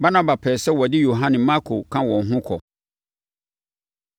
Barnaba pɛɛ sɛ wɔde Yohane Marko ka wɔn ho kɔ,